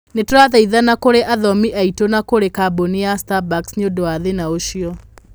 Nĩ tũrathaithana kũrĩ athomi aitũ na kũrĩ kambuni ya Starbucks nĩ ũndũ wa thĩna ũcio.